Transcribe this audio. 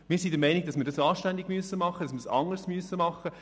Wir sind der Meinung, dass wir es anständig und anders machen müssen.